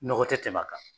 Nɔgɔ tɛ tɛmɛ a kan